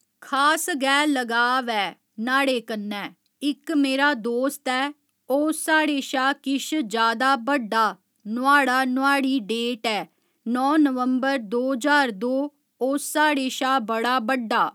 खास गै लगाव ऐ न्हाड़े कन्नै इक्क मेरा दोस्त ऐ ओह् साढ़े शा किश जादा बड्डा नुहाड़ा नुहाड़ी डेट ऐ नौ नंबवर दो ज्हार दो ओह् साढ़े शा बड़ा बड्डा